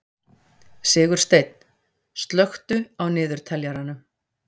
Sigursteinn, slökktu á niðurteljaranum.